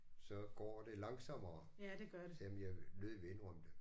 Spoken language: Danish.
Så går det langsommere selvom jeg nødigt vil indrømme det